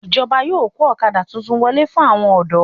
Ìjọba yóò kó ọ̀kadà titun wọlé fún àwọn ọ̀dọ́